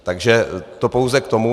Takže to pouze k tomu.